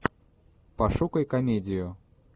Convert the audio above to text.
пошукай комедию